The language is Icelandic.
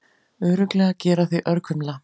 Örugglega gera þig örkumla.